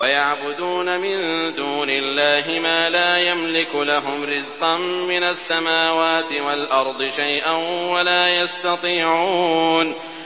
وَيَعْبُدُونَ مِن دُونِ اللَّهِ مَا لَا يَمْلِكُ لَهُمْ رِزْقًا مِّنَ السَّمَاوَاتِ وَالْأَرْضِ شَيْئًا وَلَا يَسْتَطِيعُونَ